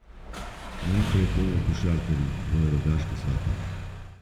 Najprej bodo košarkarji v Rogaški Slatini.